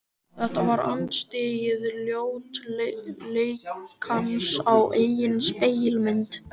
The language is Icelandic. Þetta var andstyggð ljótleikans á eigin spegilmynd.